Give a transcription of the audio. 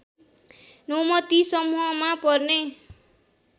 नौमती समूहमा पर्ने